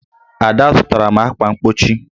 Ada zụtara m ákwà mgbochi